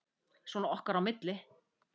Svona okkar á milli.